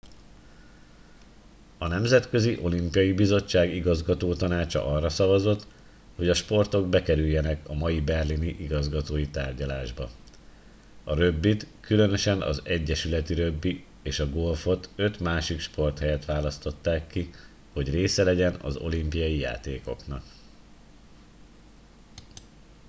a nemzetközi olimpiai bizottság igazgatótanácsa arra szavazott hogy a sportok bekerüljenek a mai berlini igazgatói tárgyalásba a rögbit különösen az egyesületi rögbi és a golfot öt másik sport helyett választották ki hogy része legyen az olimpiai játékoknak